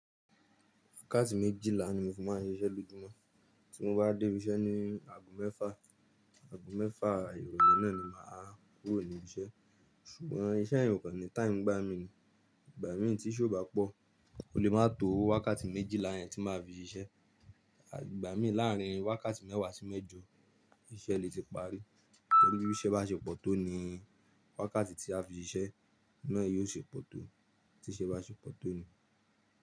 Wákàtí méjìlá ni mo fi máa ń ṣiṣẹ́ lójúmọ́, tí mo bá dé ibi iṣẹ́ ní ago mẹ́fà, ago mẹ́fà ìrọ̀lẹ́ náà ni mà á kúrò níbi iṣẹ́. Ṣùgbọ́n iṣẹ́ yè okò ní táìmù ngbá mi ní, ìgbà mìíràn tí iṣẹ́ ò bá pọ̀ kò lè má tó wákàtí méjìlá yẹn tí mà á fi ṣiṣẹ́. Ìgbà mìíràn láàárín wákàtí mẹ́wàá sí mẹ́jọ ìṣe lè ti parí. Níbi tí iṣẹ́ bá ṣe pọ̀ tó ni wákàtí tí a fi ṣiṣẹ́ náà yóò ṣe pọ̀ tó, tí iṣẹ́ bá ṣe pọ̀ tó ni.